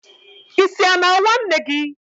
Isi a na-awa Nne gi?